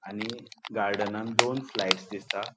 आणि गार्डनान दोन स्लायड्स दिसता.